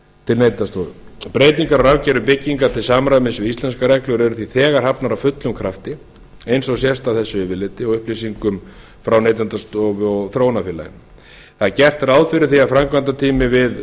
til neytendastofu breytingar á rafkerfi bygginga til samræmis við íslenskar reglur eru því þegar hafnar af fullum krafti eins og sést á þessu yfirliti og upplýsingum frá neytendastofu og þróunarfélaginu það er gert ráð fyrir því að framkvæmdatími við